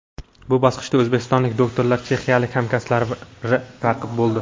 Bu bosqichda o‘zbekistonlik doktorlarga chexiyalik hamkasblari raqib bo‘ldi.